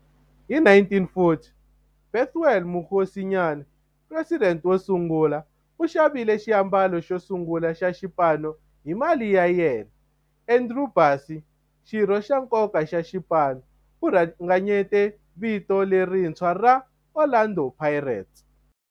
Hi 1940, Bethuel Mokgosinyane, president wosungula, u xavile xiambalo xosungula xa xipano hi mali ya yena. Andrew Bassie, xirho xa nkoka xa xipano, u ringanyete vito lerintshwa ra 'Orlando Pirates'.